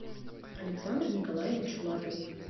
александр николаевич лапин